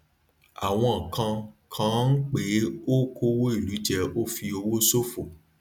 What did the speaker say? àwọn kan kàn án pé ó kówó ìlú jẹ ó fi owó ṣòfò